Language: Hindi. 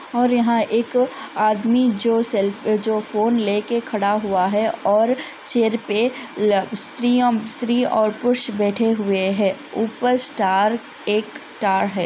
और यहाँ एक आदमी जो सेल्फी जो फ़ोन ले कर खड़ा हुआ है और चेयर पे स्त्री और पुरुष बैठे हुए है ऊपर स्टार एक स्टार है।